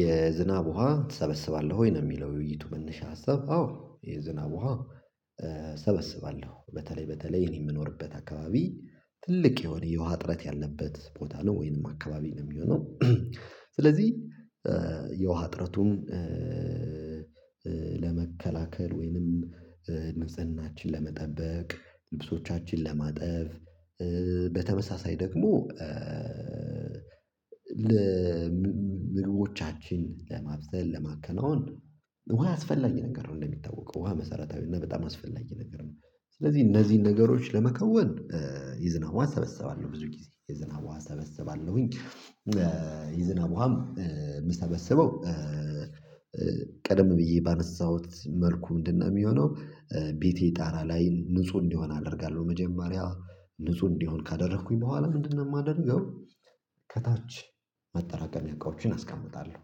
የዝናብ ውሃ ትሰበስባለህ ወይ ነው? የሚለው የውይይቱ መነሻ ሀሳብ አዎ የዝናብ ውሃ እሰበስባለሁ በተለይ በተለይ እኔ የምኖርበት አካባቢ ትልቅ የሆነ የውሃ ጥረት ያለበት ቦታ ነው ወይንም አካባቢ ነው የሚሆነው። ስለዚህ የውሃ ጥረቱም ለመከላከል ወይንም ንጽህናችን ለመጠበቅ ልብሶቻችን ለማጠፍ በተመሳሳይ ደግሞ ምግቦቻችን ለማብሰል ለማከናወን ውሃ አስፈላጊ ነገር ነው እንደሚታወቀው ውሃ መሰረታዊ እና በጣም አስፈላጊ ነገር ነው። ስለዚህ እነዚህን ነገሮች ለመከወን የዝናብ ውሃ እሰበሰባለሁ ብዙ ጊዜ የዝናብ ውሃ እሰበሰባለሁኝ የዝናብ ውሃም የምሰበስበው ቀደም ብዬ ባነሳሁት መልኩ ምንድነው የሚሆነው? ቤቴ ጣራ ላይ ንጹህ እንዲሆን አደርጋለሁ መጀመሪያ ንጹህ እንዲሆን ካደረኩኝ በኋላ ምንድነው የማደርገው? ከታች ማጠራቀሚያ እቃዎችን አስቀምጣለሁ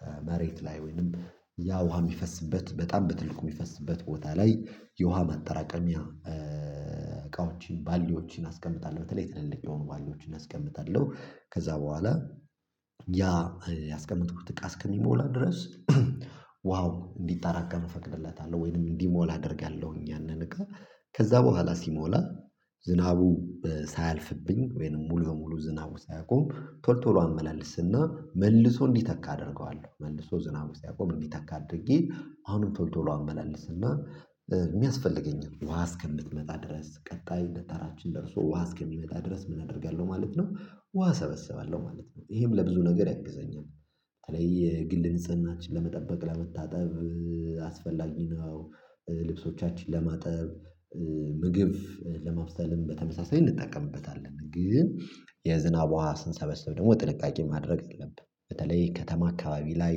ከመሬት ላይ ወይንም ያ ውሃ የሚፈስበት በጣም በትልቁ የሚፈስበት ቦታ ላይ የውሃ ማጠራቀሚያ እቃዎችን ባሊዎችን አስቀምጣለሁ በተለይ ትልልቅ የሆኑ ባሊዎችን አስቀምጣለሁ ከዛ በኋላ ያ ያስቀመጥኩት እቃ እስከሚሞላ ድረስ ውሃው እንዲጠራቀም እፈቅድለታለሁ። ወይንም እንዲሞላ አደርጋለሁኝ ያንን እቃ ከዛ በኋላ ሲሞላ ዝናቡ ሳያልፍብኝ ወይንም ሙሉ በሙሉ ዝናቡ ሳያቆም ቶሎ ቶሎ አመላልስና መልሶ እንዲተካ አደርገዋለሁ መልሶ ዝናብ ሲያቆም እንዲተካ አድርጌ አሁንም ቶሎ ቶሎ አመላልስና የሚያስፈልገኝን ውሃ እስከምትመጣ ድረስ ቀጣይ እንደተራችን ደርሶ ውሃ እስከሚመጣ ድረስ ምን አደርጋለሁ ማለት ነው። ውሃ ሰበሰባለሁ ማለት ነው ይሄም ለብዙ ነገር ያግዘኛል። ታዲያ የግል ንጽህናችን ለመጠበቅ ለመታጠብ አስፈላጊ ልብሶቻችን ለማጠብ ምግብ ለማብሰልም በተመሳሳይ እንጠቀምበታለን ግን የዝናብ ውሃ ስንሰበስብ ደግሞ ጥልቃቄ ማድረግ አለብን። በተለይ ከተማ አካባቢ ላይ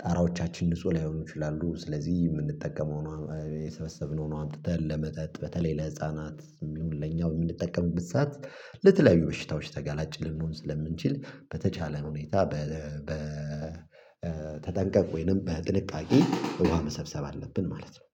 ጣራዎቻችን ንጹህ ላይሆኑ ይችላሉ። ስለዚህ የምንጠቀመውን የሰበሰብነውን አምጥተን ለመጠጥ በተለይ ለህፃናት የሚሆን ለኛው የምንጠቀምበት ሰዓት ለተለያዩ በሽታዎች ተጋላጭ ልንሆን ስለምንችል በተቻለ ሁኔታ በተጠንቀቅ ወይንም በጥንቃቄ ውሃ መሰብሰብ አለብን ማለት ነው